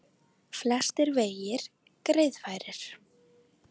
Flestir vegir greiðfærir